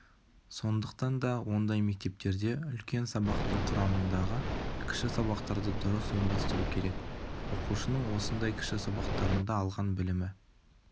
сондықтан да ондай мектептерде үлкен сабақтың құрамындағы кіші сабақтарды дұрыс ұйымдастыру керек оқушының осындай кіші сабақтарында алған білімі